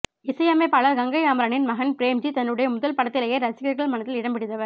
இசையமைப்பாளர் கங்கை அமரனின் மகன் பிரேம் ஜி தன்னுடைய முதல் படத்திலேயே ரசிகர்கள் மனதில் இடம்பிடித்தவர்